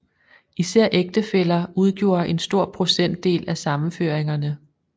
Især ægtefæller udgjorde en stor procentdel af sammenføringerne